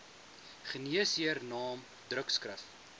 geneesheer naam drukskrif